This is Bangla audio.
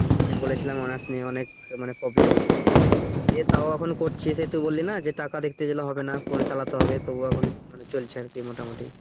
যে বলেছিলাম honor's নিয়ে অনেক মানে problem ইয়ো তাও এখন করছি সেই তুই বললি না যে টাকা দেখতে গেলে হবে না চালাতে হবে তো ও এখন চলছে আরকি মোটামুটি।